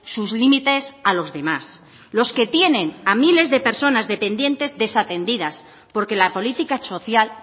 sus límites a los demás los que tienen a miles de personas dependientes desatendidas porque la política social